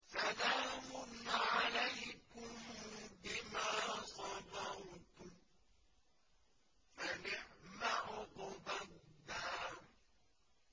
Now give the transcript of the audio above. سَلَامٌ عَلَيْكُم بِمَا صَبَرْتُمْ ۚ فَنِعْمَ عُقْبَى الدَّارِ